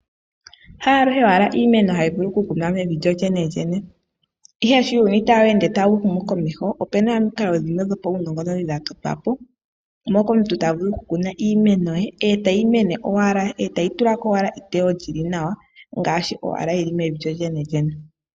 Haaluhe owala iimeno hi vulu oku kunwa mevi lyo lyenelyene. Ihe sho uuyuni taweende tawu humu komeho, opena omikalo dhimwe dhpaunongononi dha totwa po, moka omuntu tavulu oku kuna iimeno ye etayi mene owala, etayi tulako owala eteyo lyili nawa, ngaashi owala yili mevi lyo lyenelyene.